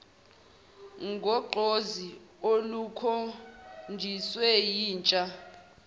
ngogqozi olukhonjiswe yintsha